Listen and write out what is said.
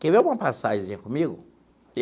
Quer ver uma passagenzinha comigo?